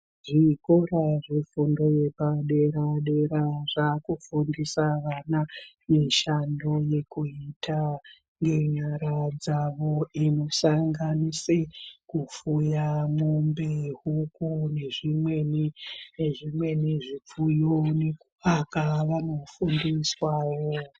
Zvikora zvefundo yepadera dera zvaakufundisa vana mishando yekuita yenyara dzavo ino sanganisira kufuya mombe, juku nezvimweni zvifuyo. Nekuvaka vano fundiswawo.